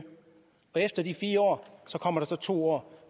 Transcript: og efter de fire år kommer der så to år